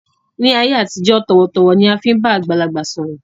Ni ayé àtijọ́, tọ̀wọ̀-tọ̀wọ̀ ni a fi máa ń bá àgbàlagbà sọ̀rọ̀